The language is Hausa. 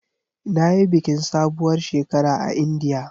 Na yi bikin sabuwar shekara a Indiya.